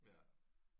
Ja